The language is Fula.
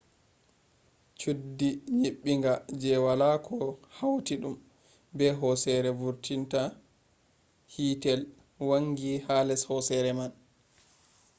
chuddi nyibbinga je wala ko hautidum be hosere vurtinta hitel wangi ha les hosere man